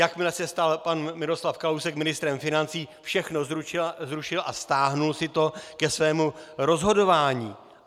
Jakmile se stal pan Miroslav Kalousek ministrem financí, všechno zrušil a stáhl si to ke svému rozhodování.